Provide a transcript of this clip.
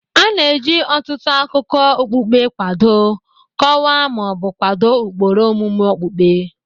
A na-eji ọtụtụ akụkọ okpukpe kwado, kọwaa, ma ọ bụ kwado ụkpụrụ omume okpukpe